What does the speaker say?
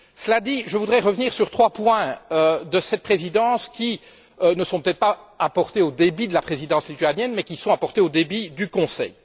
Cela dit, je voudrais revenir sur trois points de cette présidence, qui ne sont peut être pas à porter au débit de la présidence lituanienne mais qui sont à porter au débit du Conseil.